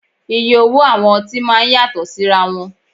Iye owó àwọn ọtí máa ń yàtọ̀ síra wọn